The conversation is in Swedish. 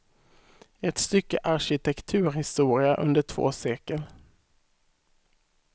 Ett stycke arkitekturhistoria under två sekel.